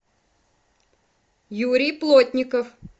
юрий плотников